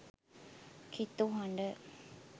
කිතු හඩ